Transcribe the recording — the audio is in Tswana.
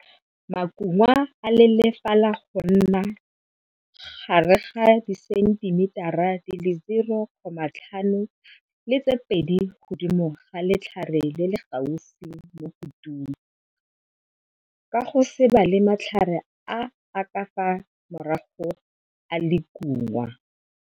Makungwa a lelefala go nna gare ga disentimetara tse 0,5 le tse 2 godimo ga letlhare le le gaufi mo kutung, ka go se bale matlhare a a ka fa morago a lekungwa.